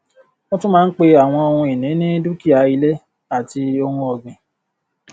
a tún máa ń pe àwọn ohun ìní ní dúkìá ilé àti ohun ọgbìn